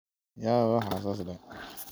Waan kuubaxabhy wayo akakarkan biya haleyen.